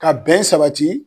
Ka bɛn sabati.